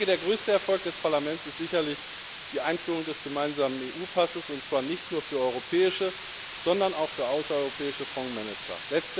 Der größte Erfolg des Parlaments ist sicherlich die Einführung des gemeinsamen EU Passes, und zwar nicht nur für europäische, sondern auch für außereuropäische Fondsmanager.